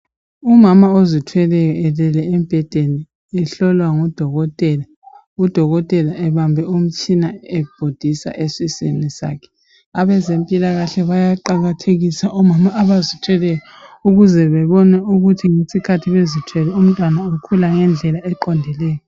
Umama ozithweleyo elele embhedeni ehlolwa ngu Dokotela ebambe umtshina ebhodisa esiswini sakhe. Abezempilakahle bayaqakathekisa omama abazithweleyo ukuze bebone ukuthi ngesikhathi bezithwele umntwana ukhula ngendlela eqondileyo.